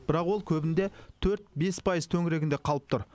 бірақ ол көбінде төрт бес пайыз төңірегінде қалып тұр